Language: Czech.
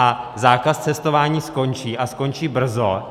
A zákaz cestování skončí, a skončí brzo.